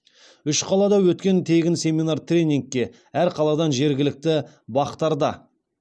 үш қалада өткен тегін семинар тренингке әр қаладан жергілікті бақ тарда